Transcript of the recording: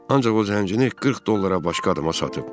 Ancaq o zəncini 40 dollara başqasına satıb.